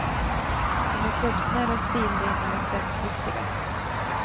De är kroppsnära, stilrena och trendriktiga.